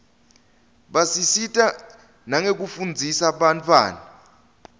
basisita nekufundzisa bantfwana